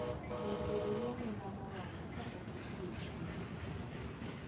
Ber bedo gi omenda moromo kapok idhi e chiro.